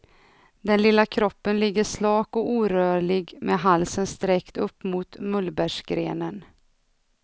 Den lilla kroppen ligger slak och orörlig med halsen sträckt upp mot mullbärsgrenen.